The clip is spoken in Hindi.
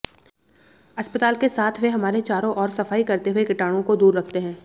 अस्पताल के साथ वे हमारे चारों ओर सफाई करते हुए कीटाणूओं को दूर रखते हैं